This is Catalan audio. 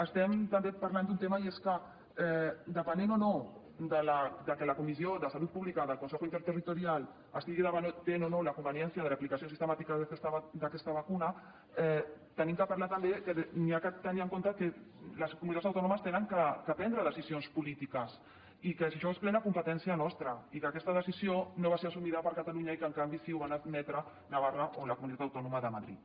estem també parlant d’un tema i és que depenent o no que la comissió de salut pública del consejo interterritorial estigui debatent o no la conveniència de l’aplicació sistemàtica d’aquesta vacuna hem de parlar també que s’ha de tenir en compte que les comunitats autònomes han de prendre decisions polítiques i que això és plena competència nostra i que aquesta decisió no va ser assumida per catalunya i que en canvi sí ho van admetre navarra o la comunitat autònoma de madrid